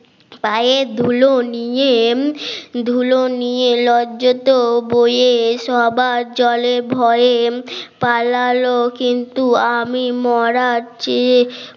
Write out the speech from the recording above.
পায়ের ধুলো নিয়ে ধুলো নিয়ে লজ্জা তো বইয়ের সবার জলে ভয়ে পালালো কিন্তু আমি মরার চেয়ে